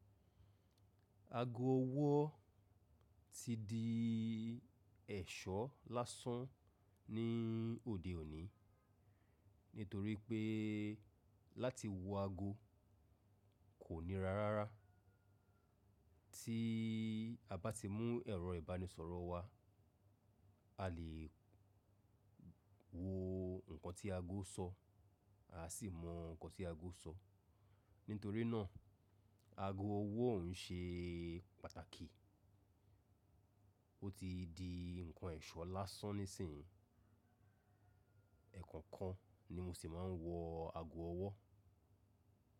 Aago ọwọ́ ti di ẹ̀ṣọ́ lásán ní òde òní, nítorí pé láti wo aago kò níra rára. Tí a bá ti mú ẹ̀rọ ìbánisọ̀rọ̀ wá, a lè wo nǹkan tí aago ń sọ, a sì mọ nǹkan tí aago ń sọ. Nítorí náà, aago ọwọ́ ń ṣe pàtàkì, ó ti di nǹkan ẹ̀ṣọ́ lásán nísìnyí. Ẹ̀ẹ̀kan kan ni mo sì máa ń wo aago ọwọ́.